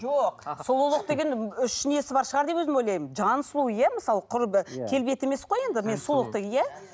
жоқ сұлулық деген үш несі бар шығар деп өзім ойлаймын жаны сұлу иә мысалы құр келбеті емес қой енді